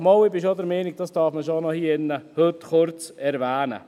– Doch, ich bin schon der Meinung, dass man das hier drinnen heute kurz erwähnen darf!